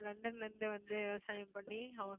லண்டன்ல இருந்து வந்து விவசாயம் பண்ணி அவன்